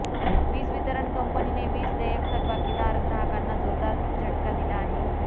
वीज वितरण कंपनीने वीज देयक थकबाकीदार ग्राहकांना जोरदार झटका दिला आहे